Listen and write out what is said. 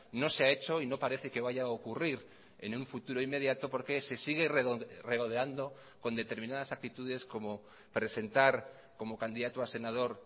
no se ha hecho y no parece que vaya a ocurrir en un futuro inmediato porque se sigue regodeando con determinadas actitudes como presentar como candidato a senador